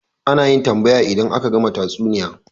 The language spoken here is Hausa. Ana yin tambaya idan aka gama tatsuniya